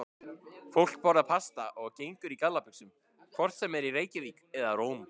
Fólk borðar pasta og gengur í gallabuxum hvort sem er í Reykjavík eða Róm.